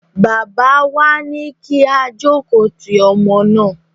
Bàbá wa ní kí á jókòó ti ọmọ náà.